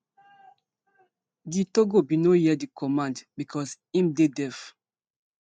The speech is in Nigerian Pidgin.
gitogo bin no hear di command becos im dey deaf